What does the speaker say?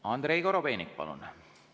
Andrei Korobeinik, palun!